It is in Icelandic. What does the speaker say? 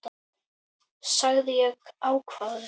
sagði ég ákafur.